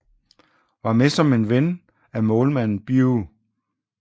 Var med som en ven af målmanden Bew